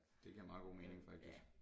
Det giver meget god mening faktisk